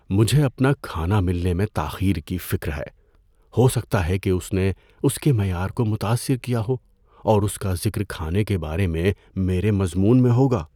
مجھے اپنا کھانا ملنے میں تاخیر کی فکر ہے۔ ہو سکتا ہے کہ اس نے اس کے معیار کو متاثر کیا ہو اور اس کا ذکر کھانے کے بارے میں میرے مضمون میں ہوگا۔